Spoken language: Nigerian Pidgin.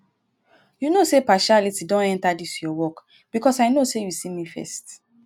you no say partiality don enter dis your work because i know say you see me first